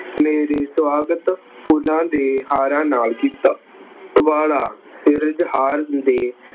ਮੇਰਾ ਸੁਆਗਤ ਫੁੱਲਾਂ ਦੇ ਹਾਰਾਂ ਨਾਲ ਕੀਤਾ। ਸਿਰਜਹਾਰ ਹੁੰਦੇ